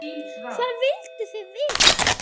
Hvað vilduð þið vita?